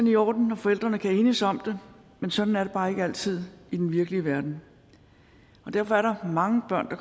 i orden når forældrene kan enes om det men sådan er det bare ikke altid i den virkelige verden derfor er der mange børn der